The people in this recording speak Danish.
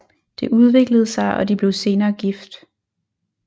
Det udviklede sig og de blev senere gift